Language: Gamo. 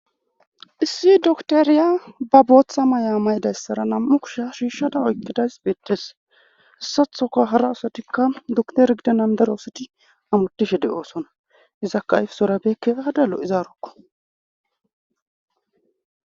Issi doktoriya ba booththa maya maydayssara nam,u kusha shiishshada oykkidays beettes hissathoka hara asatikka dukter gidanandaroosati amutishe de oosona izakka ayf sorabekke adalo,izaarokko.